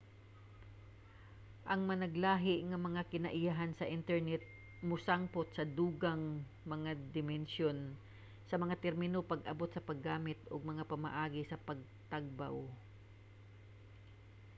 ang managlahi nga mga kinaiyahan sa internet mosangpot sa dugang mga dimensyon sa mga termino pag-abot sa paggamit ug mga pamaagi sa pagtagbaw